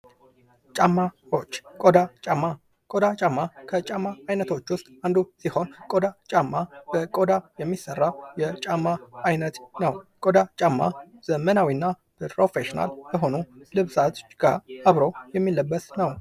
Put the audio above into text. ጫማዎች ቆዳ ጫማ ቆዳ ጫማ ከጫማ አይነቶች ውስጥ አንዱ ሲሆን ቆዳ ጫማ በቆዳ የሚሠራ የጫማ አይነት ነው። ቆዳ ጫማ ዘመናዊ እና ፕሮፊሽናል ከሆኑ ልብሶች ጋ አብረው የሚለበስ ነው።